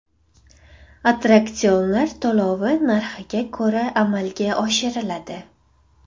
Attraksionlar to‘lovi narxiga ko‘ra amalga oshiriladi.